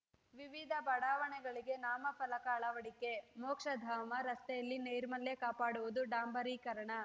ವಿವಿಧ ಬಡಾವಣೆಗಳಿಗೆ ನಾಮಫಲಕ ಅಳವಡಿಕೆ ಮೋಕ್ಷಧಾಮ ರಸ್ತೆಯಲ್ಲಿ ನೈರ್ಮಲ್ಯ ಕಾಪಾಡುವುದು ಡಾಂಬರೀಕರಣ